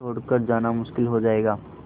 फिर छोड़ कर जाना मुश्किल हो जाएगा